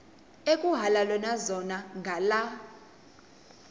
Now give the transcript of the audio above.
ekuhhalelwana zona ngala